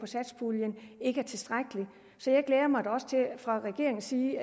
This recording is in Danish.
satspuljen ikke er tilstrækkeligt så jeg glæder mig også til at man fra regeringens side